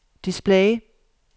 display